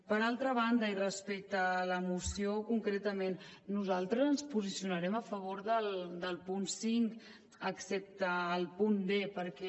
per altra banda i respecte a la moció concretament nosaltres ens posicionarem a favor del punt cinc excepte el punt d perquè